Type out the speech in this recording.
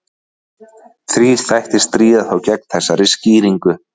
Þrír þættir stríða þó gegn þessari skýringu.